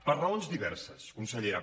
per raons diverses consellera